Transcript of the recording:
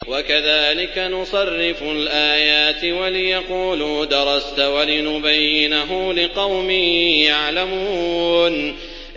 وَكَذَٰلِكَ نُصَرِّفُ الْآيَاتِ وَلِيَقُولُوا دَرَسْتَ وَلِنُبَيِّنَهُ لِقَوْمٍ يَعْلَمُونَ